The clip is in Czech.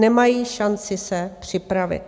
Nemají šanci se připravit.